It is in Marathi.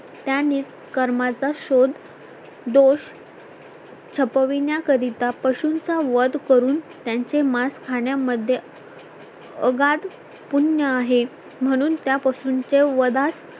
त्याने कर्माचा शोध दोष छपविण्याकरिता पशूंचा वध करून त्यांचे मांस खाण्या मध्ये अगाध पुण्य आहे म्हणून त्या पशूंचे वधास